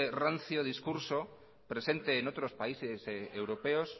rancio discurso presente en otros países europeos